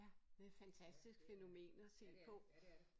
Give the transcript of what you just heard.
Ja det fantastisk fænomen at se på